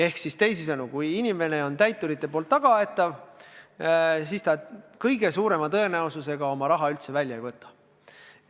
Ehk teisisõnu, kui täiturid ajavad inimest taga, siis ta väga suure tõenäosusega oma raha üldse välja ei võta.